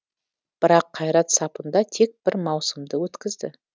бірақ қайрат сапында тек бір маусымды өткізді